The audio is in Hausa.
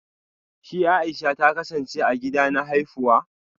Shi Aisha ta kasance a gida na haifuwa